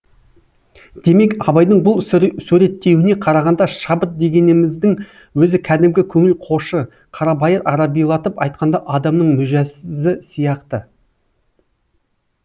демек абайдың бұл суреттеуіне қарағанда шабыт дегеніміздің өзі кәдімгі көңіл қошы қарабайыр арабилатып айтқанда адамның мүжәсізі сияқты